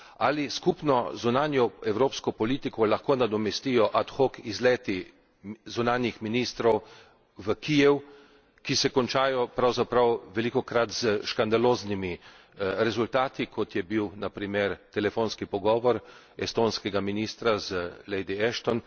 Ali skupno zunanjo evropsko politiko lahko nadomestijo ad hoc izleti zunanjih ministrov v Kijev, ki se končajo pravzaprav velikokrat s škandaloznimi rezultati, kot je bil na primer telefonski pogovor estonskega ministra z lady Ashton